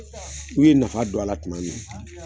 N'u ye nafa don a la tuma min